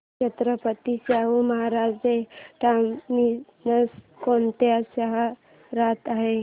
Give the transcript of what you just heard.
Chhatrapati Shahu Maharaj terminus कोणत्या शहरात आहे